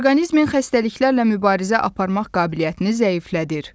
Orqanizmin xəstəliklərlə mübarizə aparmaq qabiliyyətini zəiflədir.